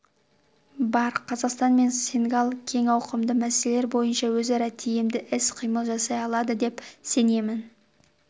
бар қазақстан мен сенегал кең ауқымды мәселелер бойынша өзара тиімді іс-қимыл жасай алады деп сенемін